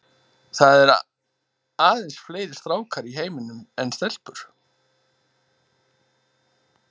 Það eru aðeins fleiri stákar í heiminum en stelpur.